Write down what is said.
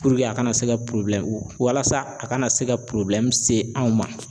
a kana se ka walasa a kana se ka se anw ma.